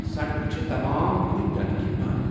سڑکہٕ چھِ تمام کُلۍ پٮ۪نہٕ كِنۍ بنٛد ۔